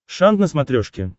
шант на смотрешке